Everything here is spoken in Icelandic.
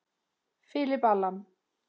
Philip Allan.